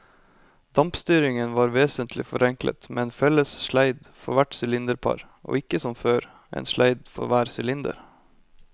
Dampstyringen var vesentlig forenklet med en felles sleid for hvert sylinderpar og ikke som før, en sleid for hver sylinder.